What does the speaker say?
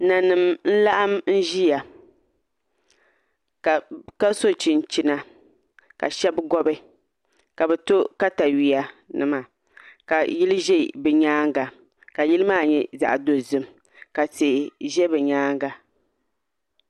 Nanim n laɣam ʒiya ka so chinchina ka shab gobi ka bi to katawiya nima ka yili ʒɛ bi nyaanga ka yili maa nyɛ zaɣ dozim ka tihi ʒɛ bi nyaanga